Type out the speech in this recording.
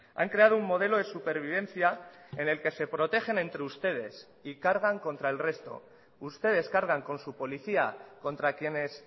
han creado un modelo de supervivencia en el que se protegen entre ustedes y cargan contra el resto ustedes cargan con su policía contra quienes